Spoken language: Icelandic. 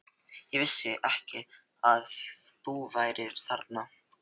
Ég vissi ekki að þú værir þarna.